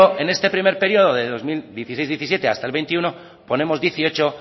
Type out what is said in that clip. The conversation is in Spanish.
en este primer periodo de dos mil dieciséis dos mil diecisiete hasta el veintiuno ponemos dieciocho